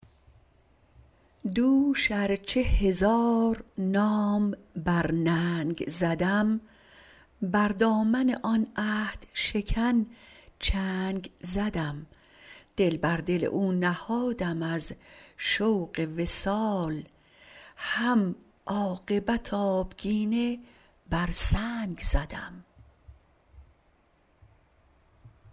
دوش ارچه هزار نام بر ننگ زدم بر دامن آن عهد شکن چنگ زدم دل بر دل او نهادم از شوق وصال هم عاقبت آبگینه بر سنگ زدم